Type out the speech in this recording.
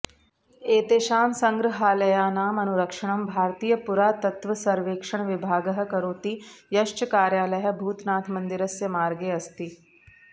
एतेषां सङ्ग्रहालयानाम् अनुरक्षणं भारतीयपुरातत्त्वसर्वेक्षणविभागः करोति यश्च कार्यालयः भूतनाथमन्दिरस्य मार्गे अस्ति